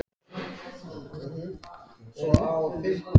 Hver á að leysa hann af?